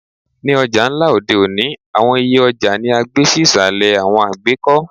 Ni ọja nla odẹ́ oni, awọn iyẹ ọja ni a gbe si isalẹ awọn àgbekọ